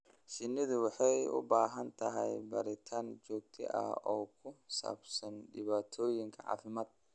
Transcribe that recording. Shinnidu waxay u baahan tahay baaritaan joogto ah oo ku saabsan dhibaatooyinka caafimaad.